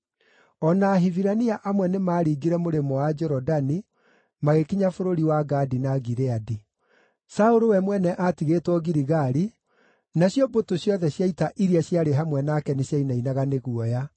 O na Ahibirania amwe nĩmaringire mũrĩmo wa Jorodani, magĩkinya bũrũri wa Gadi na Gileadi. Saũlũ we mwene aatigĩtwo Giligali, nacio mbũtũ ciothe cia ita iria ciarĩ hamwe nake nĩciainainaga nĩ guoya.